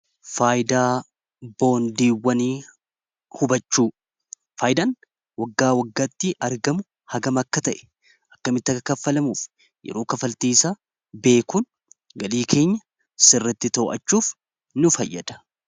boondiwwani hubachuu faayidaan waggaa waggaatti argamu hagama akka ta'e akkamitti aka kaffalamuuf yeroo kafaltiisa beekuun galii keenya sirritti too'achuuf nu fayyada